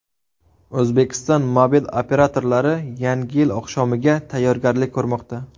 O‘zbekiston mobil operatorlari Yangi yil oqshomiga tayyorgarlik ko‘rmoqda.